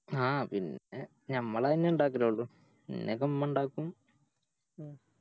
ആ പിന്നെ ഞമ്മളാതെന്നേ ഇണ്ടാക്കലോള്ളു പിന്നൊക്കെ ഉമ്മ ഇണ്ടാക്കും